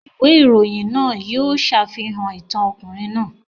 Ìwé ìròyìn náà yóò ṣàfihàn ìtàn ọkùnrin náà.